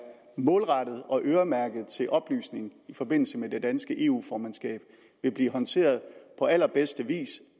målrettet og øremærket til oplysning i forbindelse med det danske eu formandskab vil blive håndteret på allerbedste vis